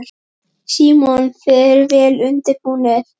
Símon: Þið eruð vel undirbúnir?